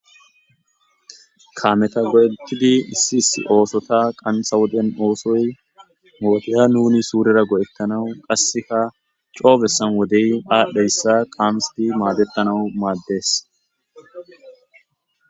kaameta go'etidi issiis oosota qanta woden oosoy mooteya nuni suurera go'ettanawu qasseka coobesan wodey aadhdheyssa qaamsdi maadettanau maaddees